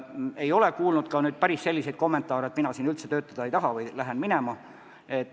Ei ole aga kuulnud päris selliseid kommentaare, et mina siin üldse töötada ei taha ja lähen minema.